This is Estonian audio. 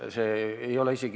Palun lisaaega!